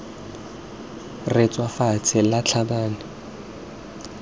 re tswa fatshe la tlhabane